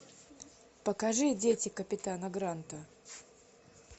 покажи дети капитана гранта